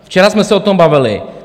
Včera jsme se o tom bavili.